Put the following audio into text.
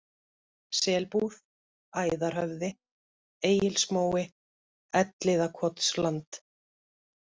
Selbúð, Æðarhöfði, Egilsmói, Elliðakotsland